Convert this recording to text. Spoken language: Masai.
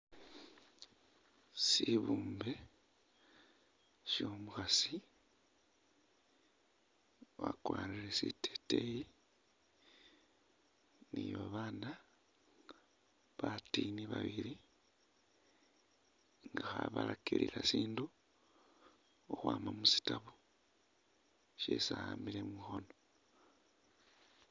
Sibumbe syo'omukhasi wakwarire siteteyi ni babaana batiini babili nga khabalakilila sindu ukhwama mu shitabu syeesi a'ambile mukhoono.